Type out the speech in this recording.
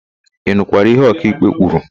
Ị nụkwara ihe ọkaịkpe kwuru?